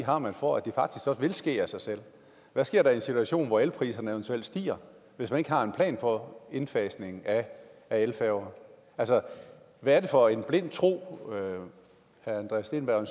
har man for at det faktisk også vil ske af sig selv hvad sker der i en situation hvor elpriserne eventuelt stiger hvis man ikke har en plan for indfasning af elfærger hvad er det for en blind tro herre andreas steenberg